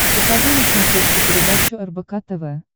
покажи на смотрешке передачу рбк тв